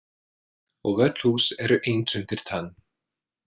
Og öll hús eru eins undir tönn.